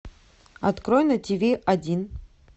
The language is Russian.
открой на тв один